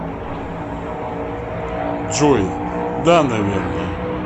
джой да наверное